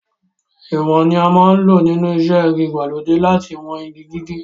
Ìwọ̀n ni a máa ń lò nínú iṣẹ́ igi ìgbàlódé láti wọn igi gígé.